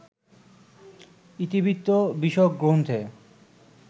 ইতিবৃত্ত-বিষয়ক গ্রন্থে